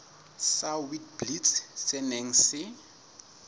sa witblits se neng se